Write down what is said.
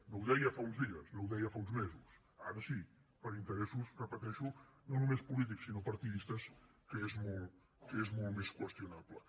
no ho deia fa uns dies no ho deia fa uns mesos ara sí per interessos ho repeteixo no només polítics sinó partidistes que és molt més qüestionable